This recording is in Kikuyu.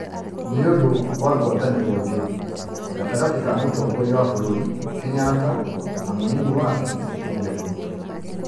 nĩ ũndũ wa ngwatanĩro njũru gatagatĩ ka Mũtongoria wa bũrũri Kenyatta na mũnini wake, William Ruto.